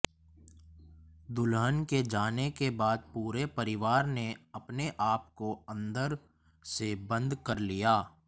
दुल्हन के जाने के बाद पूरे परिवार ने अपने आपकों अंदर से बंद कर लिया